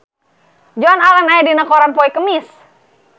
Joan Allen aya dina koran poe Kemis